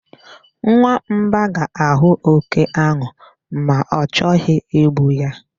Nwamba ga-ahụ oke ahụ ma o chọghị igbu ya.